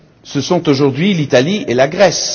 Ce sont aujourd'hui l'Italie et la Grèce.